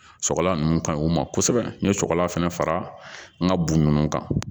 Sɔgɔla ninnu ka ɲi o ma kosɛbɛ n ye sɔgɔlan fɛnɛ fara n ka bugu ninnu kan